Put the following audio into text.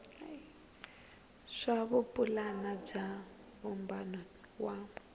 swa vupulani bya vumbano wa